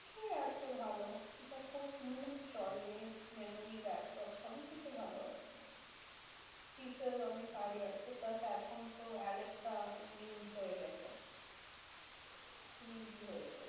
কিছুই আছে ভালো। এটা খুব smooth চলে, memory backup সবই কিছু ভালো আছে। features অনেক high আছে। plus এখন তো আলেক্সা হয়ে গেছে। খুব easy হয়েছে।